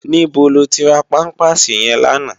Nibó lótì rá pàmpásí yèn làná?